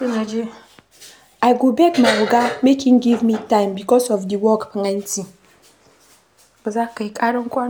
I go beg my oga make im give me time because di work plenty.